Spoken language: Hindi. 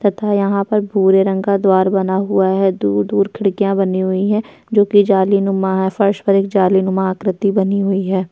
तथा यहाँ पर भूरे रंग का द्वार बना हुआ है दूर-दूर खिड़कियां बनी हुई हैं जोकि जालीनुमा है। फर्श पर एक जालीनुमा आकृति बनी हुई है।